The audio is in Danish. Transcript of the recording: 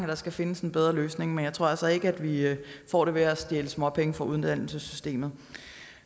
der skal findes en bedre løsning men jeg tror altså ikke at vi får det ved at stjæle småpenge fra uddannelsessystemet